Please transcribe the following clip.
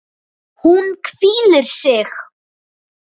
Hún hvílir sig.